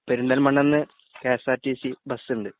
പെരുന്തൽമണ്ണെന്നു K S R T C ബസുണ്ട്